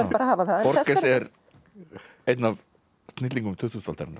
bara að hafa það borges er einn af snillingum tuttugustu aldarinnar